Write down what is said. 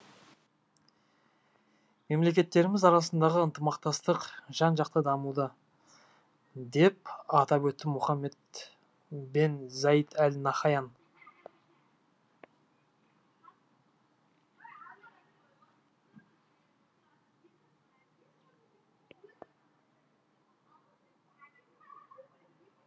мемлекеттеріміз арасындағы ынтымақтастық жан жақты дамуда деп атап өтті мұхаммед бен заид әл нахаян